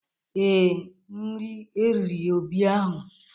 Ee, nri riri Obi ahụ.